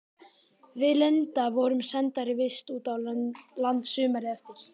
Við Linda vorum sendar í vist út á land sumarið eftir.